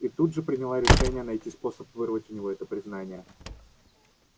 и тут же приняла решение найти способ вырвать у него это признание